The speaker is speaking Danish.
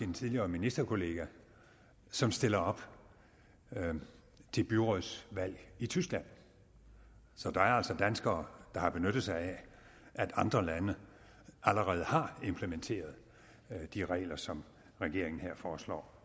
en tidligere ministerkollega som stiller op til byrådsvalg i tyskland så der er altså danskere der har benyttet sig af at andre lande allerede har implementeret de regler som regeringen her foreslår